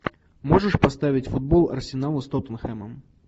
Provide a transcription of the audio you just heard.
можешь поставить футбол арсенала с тоттенхэмом